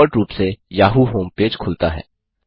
default रूप से Yahoo home page खुलता है